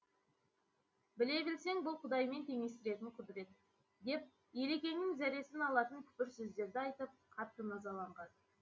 біле білсең бұл құдаймен теңестіретін құдірет деп елекеңнің зәресін алатын күпір сөздерді айтып қатты назаланған